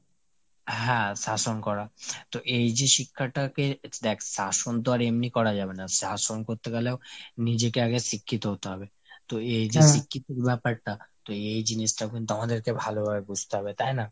হ্যাঁ শাসন করা। তো এই যে শিক্ষাটাকে দ্যাখ শাসন তো আর এমনি করা যাবে না। শাসন করতে গেলেও নিজেকে আগে শিক্ষিত হতে হবে। তো এই যে শিক্ষিতোর ব্যাপারটা। তো এই জিনিসটাও কিন্তু আমাদেরকে ভালোভাবে বুঝতে হবে তাই না ?